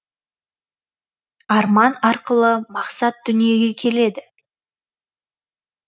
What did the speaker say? арман арқылы мақсат дүниеге келеді